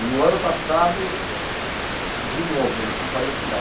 E o ano passado, de novo, eles não podem retirar.